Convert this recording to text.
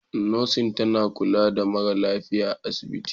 Nurse tana kula da mara lafiya a asibiti.